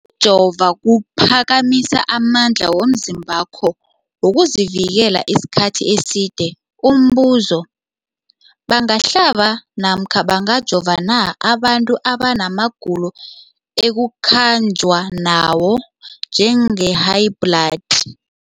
jova kuphakamisa amandla womzimbakho wokuzivikela isikhathi eside. Umbuzo, bangahlaba namkha bangajova na abantu abana magulo ekukhanjwa nawo, njengehayibhladi?